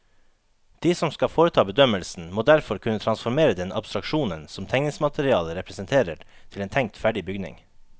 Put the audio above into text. De som skal foreta bedømmelsen, må derfor kunne transformere den abstraksjonen som tegningsmaterialet representerer til en tenkt ferdig bygning.